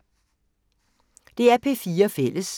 DR P4 Fælles